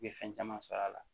I bɛ fɛn caman sɔr'a la